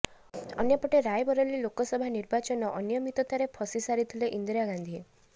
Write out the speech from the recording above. ଅନ୍ୟପଟେ ରାୟବରେଲୀ ଲୋକସଭା ନିର୍ବାଚନ ଅନିୟମିତତାରେ ଫସି ସାରିଥିଲେ ଇନ୍ଦିରା ଗାନ୍ଧି